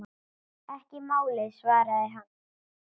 Ekki málið, svaraði hann.